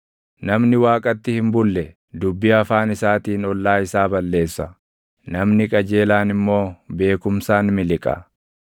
Namni Waaqatti hin bulle dubbii afaan isaatiin ollaa isaa balleessa; namni qajeelaan immoo beekumsaan miliqa.